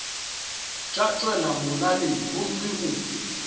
tša tšwela molaleng gomme o